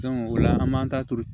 o la an m'an ta turu